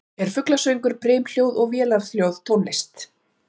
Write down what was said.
Er fuglasöngur, brimhljóð og vélarhljóð tónlist?